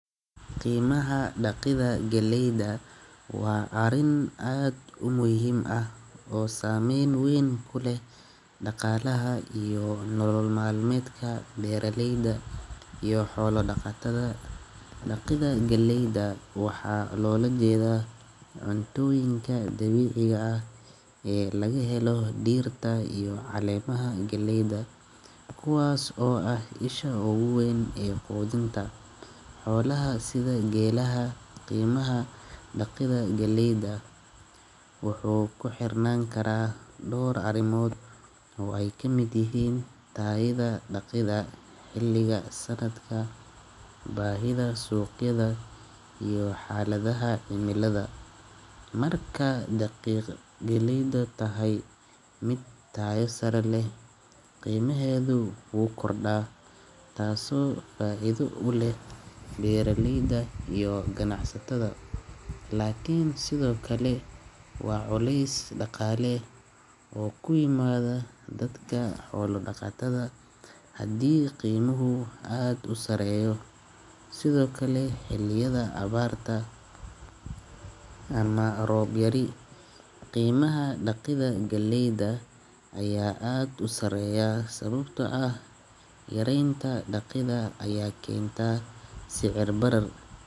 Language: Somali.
Qiimaha dhaqidah galeyda waa arin aad u muuhim ah oo saameyn weyn kule dhaqaalaha iyo nolmaalmeedka beeraleyda iyo xoolo dhaqatada. Dhaqidah galeyda waxaa loola jeeda cuntayinka dabiiciga ah ee laga helo diirta iyo caleemaha galeyda, kuwaas oo ah isha ugu weyn ee foodinta. Xoolaha sida geelaha. Qiimaha dhaqidah galeyda wuxuu ku xirnaan karaa dhawr arimoov. Way ka mid yihiin taayida dhaqid ah, xilliga sannadka, baahida suuqyada iyo xaaladaha imilada. Markaa dhaqiiq galeyda tahay mid taayo sarreysan leh, qiimoheedu uu kordhawaa taasoo faa'iideysan u leh beeraleyda iyo ganacsatada. Laakiin sidoo kale waa culeys dhaqaale oo ku yimaado dadka xoolo dhaqatada haddii qiimuhu aad u sareeyo sidoo kale xiliyada abbaarta ama roob yar. Qiimaha dhaqidah galeyda ayaa aad u sareeya sababtoo ah yaraynta dhaqidah ayaa keenta sicir barar.